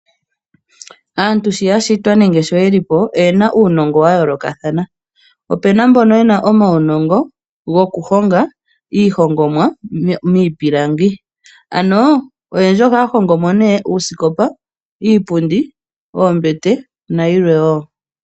Oto vulu okwiilandela uusikopa woye uuwanawa no sho woo iipundi, niitafula noo mbete kombiliha.